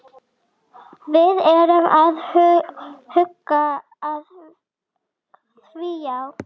Við erum að huga að því, já.